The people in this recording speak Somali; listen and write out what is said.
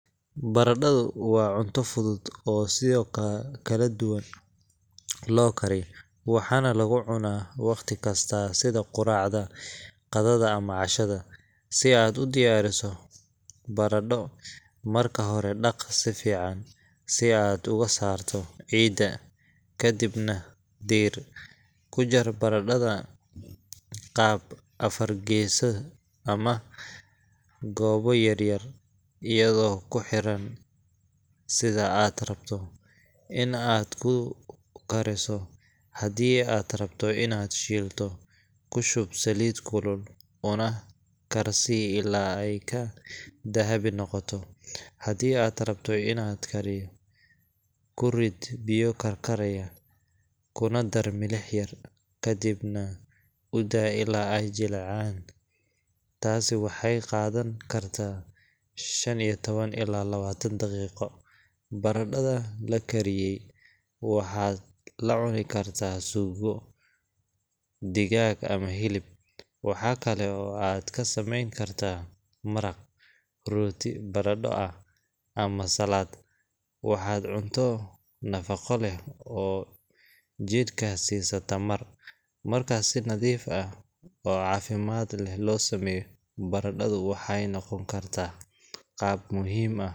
Baradhadu waa cunto fudud oo siyo kala duwan loo kariyo, waxaana lagu cunaa waqti kasta sida quraacda, qadada ama cashada. Si aad u diyaariso baradho, marka hore dhaq si fiican si aad uga saarto ciidda, kadibna diir. Ku jar baradhada qaab afar gees ama goobo yar yar, iyadoo ku xiran sida aad rabto in aad ku kariso. Haddii aad rabto inaad shiilto, ku shub saliid kulul, una karsii ilaa ay ka dahabi noqdaan. Haddii aad rabto inaad kariyo, ku rid biyo karkaraya, kuna dar milix yar, kadibna u daa ilaa ay jilcayaan – taasi waxay qaadan kartaa shan iyo tawan ilaa lawaatan daqiiqo. Baradhada la kariyey waxaad la cuni kartaa suugo, digaag ama hilib. Waxa kale oo aad ka samayn kartaa maraq, rooti baradho ah, ama salad. Waa cunto nafaqo leh oo jidhka siisa tamar. Marka si nadiif ah oo caafimaad leh loo sameeyo, baradhadu waxay noqon kartaa qayb muhiim.